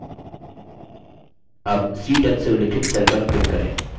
अब c10 से उल्लिखित cell पर click करें